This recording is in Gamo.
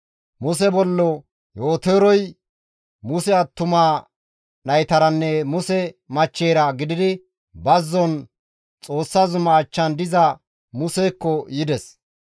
Muse bollo Yootorey Muse attuma naytaranne Muse machcheyra gididi bazzon Xoossa zuma achchan diza Musekko yides.